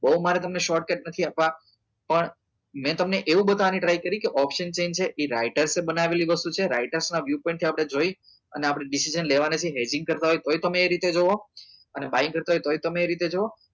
બઉ મારે તમને short cut નથી આપવા પણ મેં તમને એવું બતવવા ની try કરી કે option chain છે એ writers એ બનાવેલી વસ્તુ છે ragistrastion ના view point થી આપડે જોઈ અને આપડે decision લેવા ના છે કરતા હોય તોય તમે એ રીતે જોવો અને busy કરતા હોય તોય તમે એ રીતે જોવો